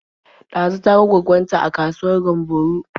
Ɗazu ta ga gwaggon ta a kasuwar Gamburo.